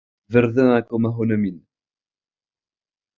Við verðum að koma honum inn.